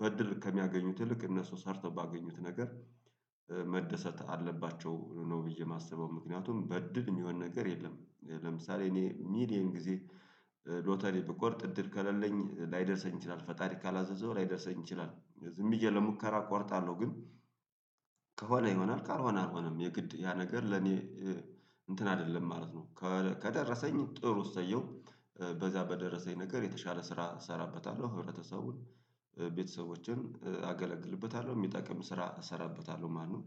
በዕድል ከሚያገኙት ይልቅ እነሱ ሰርተው ባገኙት ነገር መደሰት አለባቸው። ነው ብዬ የማስበው ምክንያቱም በዕድል የሚሆን ነገር የለም። ለምሳሌ እኔ ሚሊየን ጊዜ ሎተሪ ብቆርጥ እድል ከሌለኝ ላይደርሰኝ ይችላል ፈጣሪ ካላዘዘው ላይደርሰኝ ይችላል። ዝም ብዬ ለሙከራ እቆርጣለሁ ግን ከሆነ ይሆናል ካልሆነ አልሆነም የግድ ያ ነገር ለኔ እንትን አይደለም ማለት ነው። ከደረሰኝ ጥሩ እሰየው በዛ በደረሰኝ ነገር የተሻለ ስራ እሰራበታለሁ ህብረተሰቡን ቤተሰቦችን አገለግልበታለሁ የሚጠቅም ስራ እሰራበታለሁ ማለት ነው።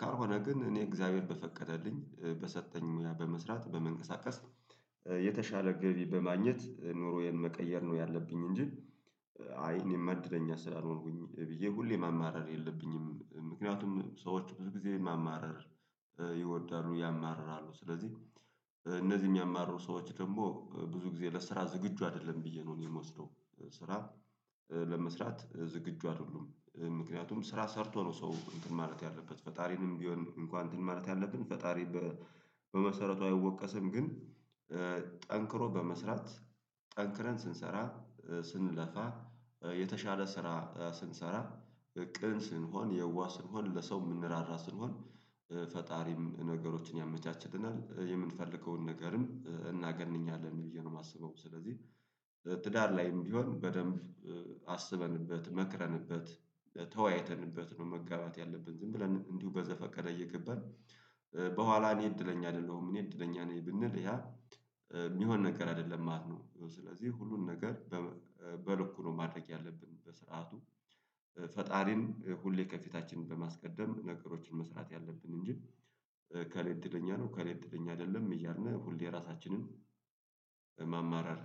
ካልሆነ ግን እኔ እግዚአብሔር በፈቀደልኝ በሰጠኝ ሙያ በመስራት በመንቀሳቀስ የተሻለ ገቢ በማግኘት ኑሮዬን መቀየር ነው ያለብኝ። እንጂ አይ እኔማ እድለኛ ስላልሆንኩኝ ብዬ ሁሌ ማማረር የለብኝም። ምክንያቱም ሰዎች ብዙ ጊዜ ማማረር ይወዳሉ ያማርራሉ ስለዚህ እነዚህ የሚያማርሩ ሰዎች ደግሞ ብዙ ጊዜ ለስራ ዝግጁ አይደለም ብዬ ነው የምወስደው። ስራ ለመስራት ዝግጁ አይደሉም ምክንያቱም ስራ ሰርቶ ነው ሰው እንትን ማለት ያለበት ፈጣሪንም ቢሆን እንኳን እንትን ማለት ያለብን ፈጣሪ በመሰረቱ አይወቀስም። ግን ጠንክሮ በመስራት ጠንክረን ስንሰራ ስንለፋ የተሻለ ስራ ስንሰራ ቅን ስንሆን የዋህ ስንሆን ለሰው የምንራራ ስንሆን ፈጣሪም ነገሮችን ያመቻችልናል የምንፈልገውን ነገርም እናገኛለን ብዬ ነው የማስበው። ስለዚህ ትዳር ላይም ቢሆን በደንብ አስበንበት መክረንበት ተወያይተንበት ነው መጋባት ያለብን። ዝም ብለን እንዲሁ በዘፈቀደ እየገበን በኋላ እኔ እድለኛ አይደለሁም እኔ እድለኛ ነኝ ብንል ያ የሚሆን ነገር አይደለም ማለት ነው። ስለዚህ ሁሉን ነገር በልኩ ነው ማድረግ ያለብን። በስርዓቱ ፈጣሪን ሁሌ ከፊታችን በማስቀደም ነገሮችን መስራት ያለብን እንጂ እከሌ እድለኛ ነው እከሌ እድለኛ አይደለም እያልነህ ሁሌ ራሳችንን ማማረር